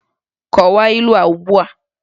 Kọwaa ilu a ugbu a!